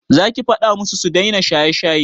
Za ki faɗa musu su daina shaye-shaye?